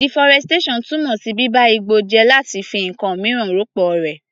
Deforestation túmọ̀ sí bíba igbó jẹ́ láti fi ǹkan míràn rọ́pọ̀ rẹ̀.